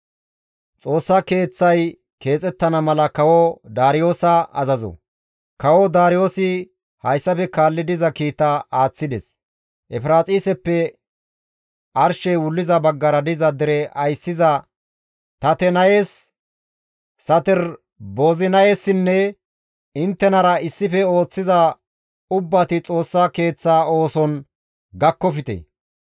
Kawo Daariyoosi hayssafe kaalli diza kiita aaththides; «Efiraaxiseppe arshey wulliza baggara diza dere ayssiza Tatenayes, Saterboozinayessinne inttenara issife ooththiza ubbati Xoossa Keeththa ooson gakkofte;